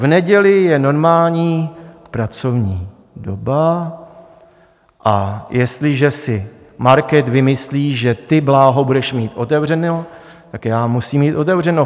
V neděli je normální pracovní doba, a jestliže si market vymyslí, že ty, Bláho, budeš mít otevřeno, tak já musím mít otevřeno.